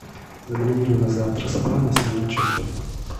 забронируй на завтра спа на семнадцать часов